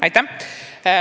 Aitäh!